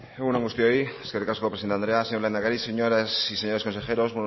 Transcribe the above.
egun on guztioi eskerrik asko presidente andrea señor lehendakari señoras y señores consejeros